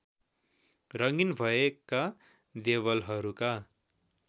रङ्गिन भएका देवलहरूका